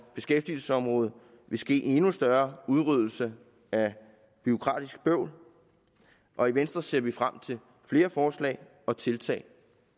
beskæftigelsesområdet vil ske en endnu større udryddelse af bureaukratisk bøvl og i venstre ser vi frem til flere forslag og tiltag